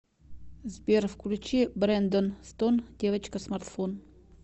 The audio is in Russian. сбер включи брэндон стоун девочка смартфон